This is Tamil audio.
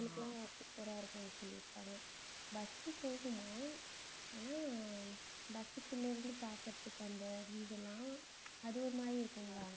அவங்களுக்கு எல்லாம் super ஆ இருக்கும்னு சொல்லிருக்காங்க bus போகுமாம் ஆனா bus க்குள்ள இருந்து பாக்கறதுக்கு அந்த view எல்லாம் அது ஒரு மாதிரி இருக்கும்